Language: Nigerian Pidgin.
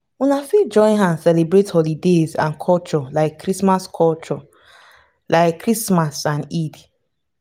una fit join hand celebrate holidays and culture like christmas culture like christmas and eid